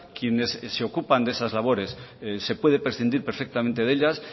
quienes se ocupan de esas labores se puede prescindir perfectamente de ellas